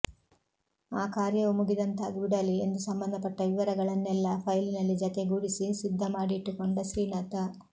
ಆ ಕಾರ್ಯವೂ ಮುಗಿದಂತಾಗಿಬಿಡಲಿ ಎಂದು ಸಂಬಂಧಪಟ್ಟ ವಿವರಗಳನ್ನೆಲ್ಲ ಫೈಲಿನಲ್ಲಿ ಜತೆಗೂಡಿಸಿ ಸಿದ್ದ ಮಾಡಿಟ್ಟುಕೊಂಡ ಶ್ರೀನಾಥ